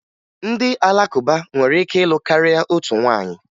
Ndị Alakụba nwere ike ịlụ karịa otu nwaanyị